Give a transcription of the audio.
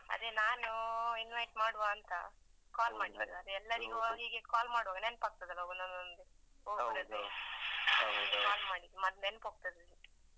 ಅದೇ ನಾನು invite ಮಾಡುವ ಅಂತ call ಮಾಡಿದ್ದು. ಅದೇ ಎಲ್ಲರಿಗು ಹೀಗೆ call ಮಾಡುವಾಗ ನೆನಪ್ ಆಗ್ತದಲ್ಲ ಒಂದೊಂದ್ ಒಂದೊಂದು. call ಮಾಡಿದ್ದು ಮತ್ತೆ ನೆನಪ್ ಹೋಗ್ತದೆ.